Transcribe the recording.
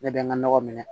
Ne bɛ n ka nɔgɔ minɛ